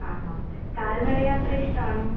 ആഹാ. കാൽനടയാത്ര ഇഷ്ടാണോ?